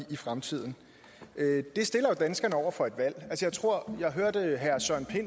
i fremtiden det stiller jo danskerne over for et valg jeg hørte